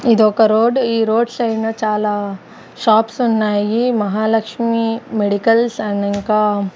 ఇదొక రోడ్ ఈ road side నా చాలా షాప్స్ ఉన్నాయి మహాలక్ష్మి మెడికల్స్ అండ్ ఇంకా--